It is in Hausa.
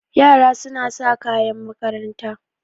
Yara suna sa kayan makaranta.